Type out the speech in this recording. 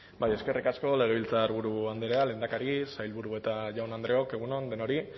bai eskerrik asko legebiltzarburu andrea lehendakari sailburu eta jaun andreok egun on denoi